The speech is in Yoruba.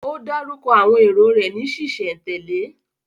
Ó dárúkọ àwọn èrò rẹ̀ ní ṣísẹ̀ntèlé?